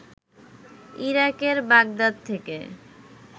ইরাকের বাগদাদ থেকে